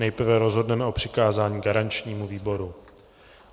Nejprve rozhodneme o přikázání garančnímu výboru.